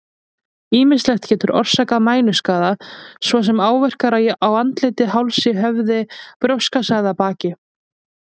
Ýmislegt getur orsakað mænuskaða, svo sem áverkar á andliti, hálsi, höfði, brjóstkassa eða baki.